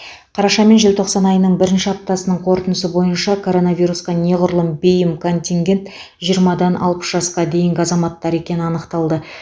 қараша мен желтоқсан айының бірінші аптасының қорытындысы бойынша коронавирусқа неғұрлым бейім контингент жиырмадан алпыс жасқа дейінгі азаматтар екені анықталды